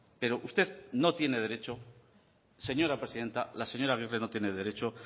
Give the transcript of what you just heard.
pero usted no tiene derecho señora presidenta la señora agirre no tiene derecho